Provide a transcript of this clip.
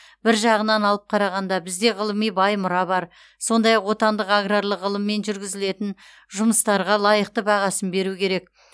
бір жағынан алып қарағанда бізде ғылыми бай мұра бар сондай ақ отандық аграрлық ғылыммен жүргізілген жұмыстарға лайықты бағасын беру керек